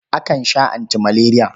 Akan sha antimaleriya.